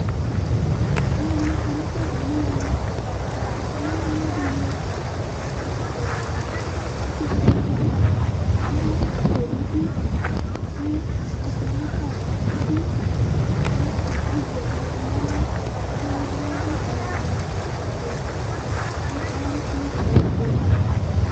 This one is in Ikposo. Ɔluni kɔ nu ukpãfo nu ɛvɛ Ɔlɛ emlo ɖini, nu ɛtufuɛ ɔluɛdini Ɛtufuɛnitsi yɛ ãdu akpó nu idu, ku assɛ elu kɔ lɛ nu idu, ku atann, azɛ evidzedi nu ɛlu Evidze wani ɛdibi aɖu awu wɛ, ofue Ku aya nu kantsidi ɛtu